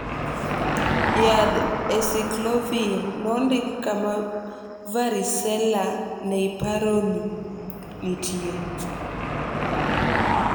yadh acyclovir nondik kama varicella neiparoni nitie